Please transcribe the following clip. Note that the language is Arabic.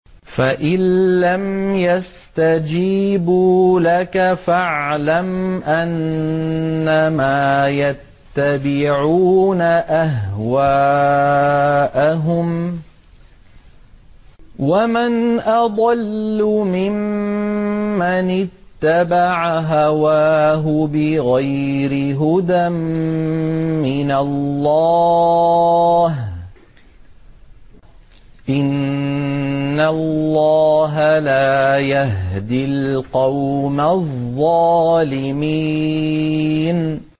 فَإِن لَّمْ يَسْتَجِيبُوا لَكَ فَاعْلَمْ أَنَّمَا يَتَّبِعُونَ أَهْوَاءَهُمْ ۚ وَمَنْ أَضَلُّ مِمَّنِ اتَّبَعَ هَوَاهُ بِغَيْرِ هُدًى مِّنَ اللَّهِ ۚ إِنَّ اللَّهَ لَا يَهْدِي الْقَوْمَ الظَّالِمِينَ